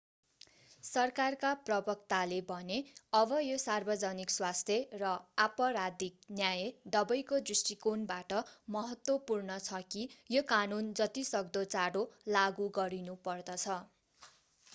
सरकारका प्रवक्ताले भने अब यो सार्वजनिक स्वास्थ्य र आपराधिक न्याय दवैको दृष्टिकोणबाट महत्त्वपूर्ण छ कि यो कानून जति सक्दो चाँडो लागू गरिनुपर्दछ